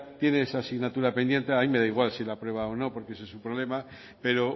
tiene esa asignatura pendiente a mí me da igual si la aprueba o no porque ese es su problema pero